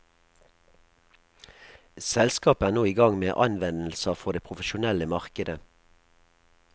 Selskapet er nå igang med anvendelser for det profesjonelle markedet.